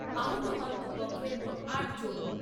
আহত হন দু পক্ষের মোট আট জন।